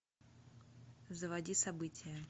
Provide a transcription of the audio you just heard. заводи события